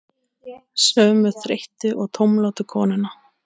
Sömu þreyttu og tómlátu konuna?